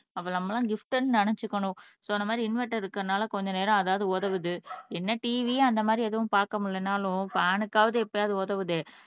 அப்ப நம்ம எல்லாம் கிபிட்ன்னு நினைச்சுக்கணும் சோ அந்த மாதிரி இன்வெர்டர் இருக்கிறதுனால கொஞ்ச நேரம் அதாவது உதவுது என்ன TV அந்த மாதிரி எதுவும் பார்க்க முடியலைன்னாலும் ஃபேன்க்காவது எப்பயாவது உதவுதே